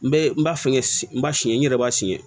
N bɛ n b'a fɛ n b'a siyɛn n yɛrɛ b'a siyɛn